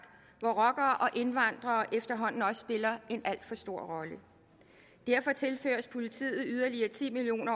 hvor rockere og indvandrere efterhånden også spiller en alt for stor rolle derfor tilføres politiet yderligere ti million